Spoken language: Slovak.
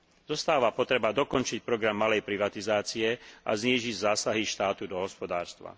Zostáva potreba dokončiť program malej privatizácie a znížiť zásahy štátu do hospodárstva.